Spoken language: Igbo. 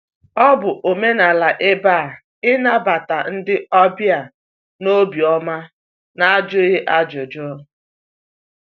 Ọ bụ omenala ebe a ịnabata ndị ọbịa n'obi ọma n'ajụghị ajụjụ.